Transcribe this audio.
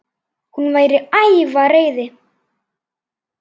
Hún var æf af reiði.